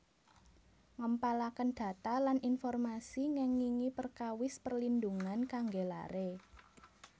Ngempalaken data lan informasi ngengingi perkawis perlindhungan kangge lare